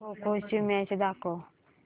खो खो ची मॅच दाखव